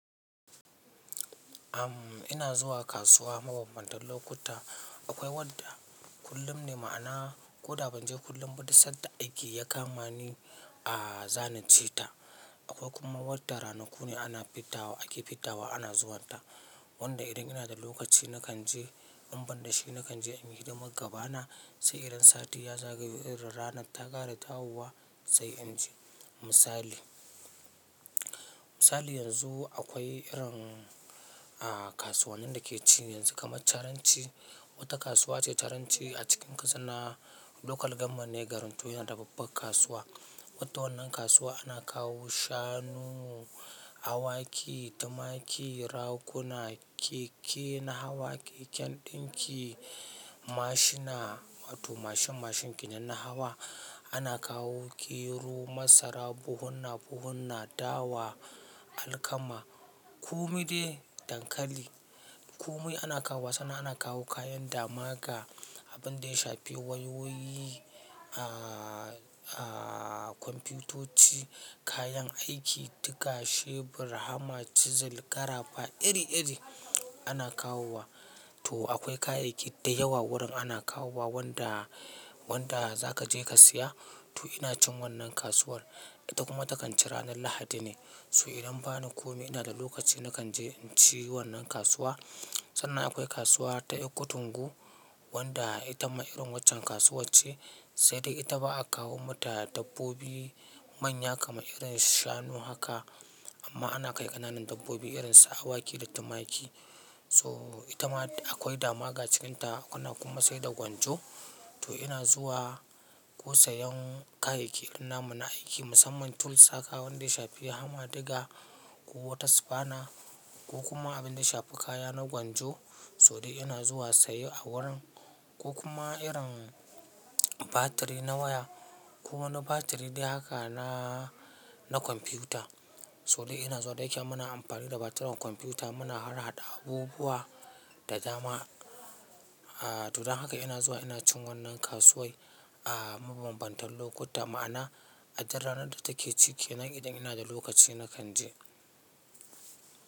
Am ina zuwa kasuwa mabanbantan lokutta. Akwai wadda kullum ne, ma'ana ko da ban je kullum ba, du sanda aiki ya kama ni a zana je ta. Akwai kuma wadda ranaku ne ana fidda wa ake fidda wa ana zuwanta, wanda idan ina da lokaci nakan je, in ban da shi nakan je in yi hidimar magaba na, sai irin sati ya zagayo irin ranar ta ƙara dawowa sai in je. Misali, misali yanzu akwai irin, ah, kasuwannin da ke ci yanzu kamar caranci. Wata kasuwa ce caranci a cikin ƙasanna. Local government ne. Garin to yana da babbar kasuwa. Wadda wannan kasuwa ana kawo shanu, awaki, tumaki, raƙuna, keke na hawa, keken ɗinki, mashina, to mashin mashin kenan na hawa. Ana kawo gero, masara, buhunna buhunna, dawa, alkama, kumai de, dankali. Komai ana kawo wa, sannan ana kawo kayan damaga, abin da ya shafi wayoyi, ah, ah, kwamfiyutoci, kayan aiki, diga, shebur, hama, chisel, ƙarafa iri iri ana kawowa. To akwai kayayyaki da yawa gurin ana kawo wa, wanda, wanda za kaje ka siya, to ina cin wannan kasuwar. Ita kuma takan ci ranar Lahadi ne. So idan bani komai ina da lokaci nakan je in ci wannan kasuwa. Sannan akwai kasuwa ta ƴakkotungo wanda ita ma irin waccan kasuwac ce, sai dai ita ba a kawo mata dabbobi manya kamar irin shanu haka. Amma ana kai ƙananan dabbobi irin su awaki da tumaki. So ita ma akwai dama ga cikinta. Ana kuma saida gwanjo. To ina zuwa ko sayan kayayyaki irin na mun aiki musamman tools haka, wanda ya shafi hama, diga ko wata sifana ko kuma abin da ya shafi kaya na gwanjo to dai ina zuwa saye a wurin, ko kuma irin batiri na waya ko wani batiri dai haka na, na kwamfiyuta. To dai ina zuwa, da yake muna amfani da batiran kwamfiyuta muna harhaɗa abubuwa da dama. Ah, to dan haka ina zuwa ina cin wannan kasuwai, ah, mabanbantan lokuta. Ma'ana a dur ranar da take ci kenan idan ina da lokaci na kan je.